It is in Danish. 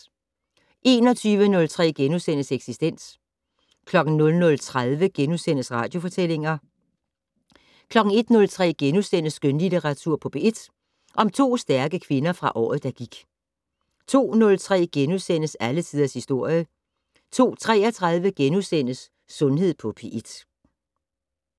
21:03: Eksistens * 00:30: Radiofortællinger * 01:03: Skønlitteratur på P1 - To stærke kvinder fra året, der gik * 02:03: Alle tiders historie * 02:33: Sundhed på P1 *